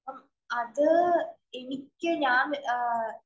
അപ്പം അത് എനിക്ക് ഞാന്‍